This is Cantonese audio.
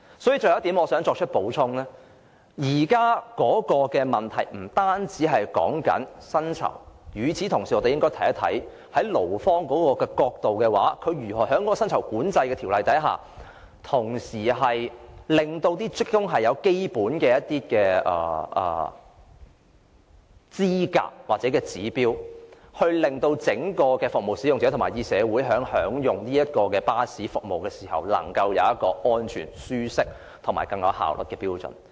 所以，我想補充的最後一點是，現在的問題不單在於薪酬，而是我們應該同時看一看，從勞方的角度來說，如何在賺取利潤的同時，令職工具備基本的資格或符合指標，令服務使用者和整個社會享用巴士服務時，能夠有一個安全、舒適和更有效率的標準。